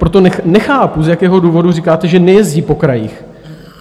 Proto nechápu, z jakého důvodu říkáte, že nejezdí po krajích.